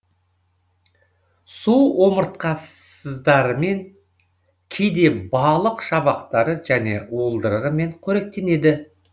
су омыртқасыздарымен кейде балық шабақтары және уылдырығымен қоректенеді